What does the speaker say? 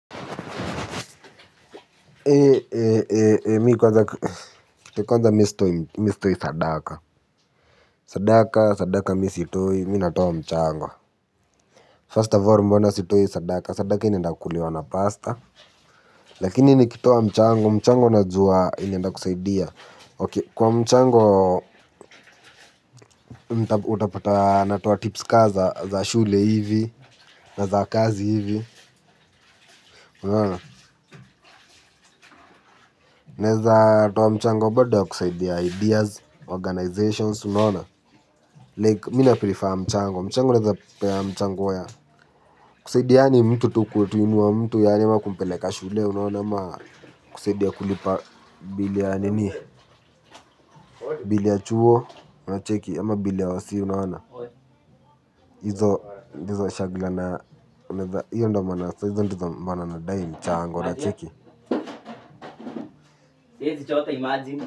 Eee, eee, kwanza mimi sitoi sadaka First of all mbona sitoi sadaka sadaka inaenda kuliwa na pastor lakini nikitoa mchango mchango najua inaenda kusaidia Ok, kwa mchango, utapata, natoa tips ka za za shule hivi, na za kazi hivi, unaona. Naeza, toa mchango bado ya kusaidia ideas organizations unaona, like mi naprefer mchango, mchango naeza pea mchango ya kusaidiana mtu tu kuinua mtu yani ama kumpeleka shule unaona ama kusaidia kulipa bill ya nini bil ya chuo unacheki ama bill ya hosi unaona hizo ndizo shagla na unaeza hiyo maana sa hizo ndo maana nadai mchango unacheki.